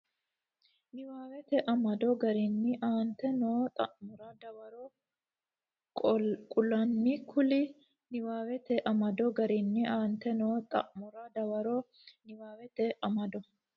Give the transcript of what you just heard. niwaawete amado garinni aante noo xa mora dawaro qaalunni kulle niwaawete amado garinni aante noo xa mora dawaro niwaawete amado.